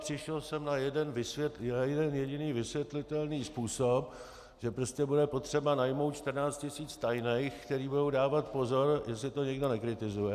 Přišel jsem na jeden jediný vysvětlitelný způsob, že prostě bude potřeba najmout 14 tisíc tajných, kteří budou dávat pozor, jestli to někdo nekritizuje.